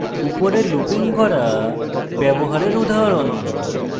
উপরের looping গড়া ব্যবহারের উদাহরণ